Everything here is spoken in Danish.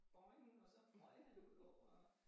Boing og så røg han jo udover